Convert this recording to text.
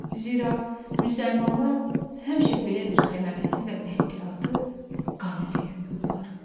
Zira müsəlmanlar həmişə belə bir xəyanəti və təhqiratı qan ilə yuyurdular.